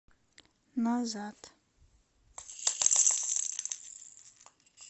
назад